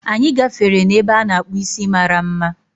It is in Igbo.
Anyị gafere n'ebe a na-akpu isi mara mma